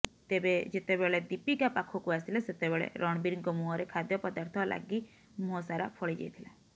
ତେବେ ଯେତେବେଳେ ଦୀପିକା ପାଖକୁ ଆସିଲେ ସେତେବେଳେ ରଣବୀରଙ୍କ ମୁହଁରେ ଖାଦ୍ୟ ପଦାର୍ଥ ଲାଗି ମୁହଁସାରା ଫଳିଯାଇଥିଲା